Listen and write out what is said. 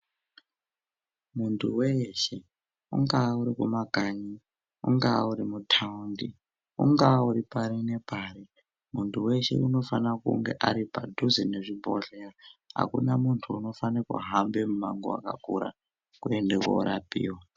Muntu weshe ungaa uri kumakanyi, unga uri mutaundi, ungaa uri pari nepari muntu weshe unofana kunge ari padhuze nezvibhodhleya hakuna muntu unofane kuhambe mumango wakakura kuende korapiwa.